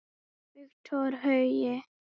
Victor Hugo